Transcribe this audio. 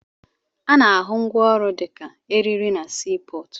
Ana-ahụ ngwaọrụ dịka eriri na sii pọọtụ.